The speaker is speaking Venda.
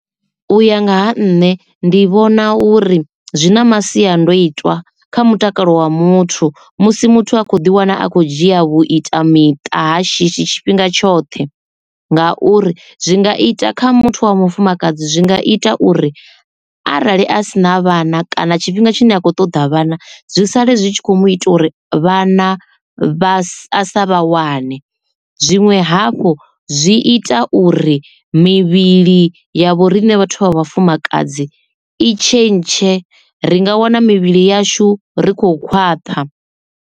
U ya nga ha nṋe ndi vhona uri zwi na masiandoitwa kha mutakalo wa muthu musi muthu a kho ḓi wana a khou dzhia vhu ita miṱa ha shishi tshifhinga tshoṱhe ngauri zwi nga ita kha muthu wa mufumakadzi zwi nga ita uri arali a sina vhana kana tshifhinga tshine a khou ṱoḓa vhana zwi sale zwi tshi kho mu ita uri vhana vha sa vha wane zwiṅwe hafhu zwi ita uri mivhili yavho riṋe vhathu vha vhafumakadzi i tshe ntshe ri nga wana mivhili yashu ri kho khwaṱha.